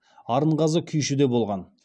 арынғазы күйші де болған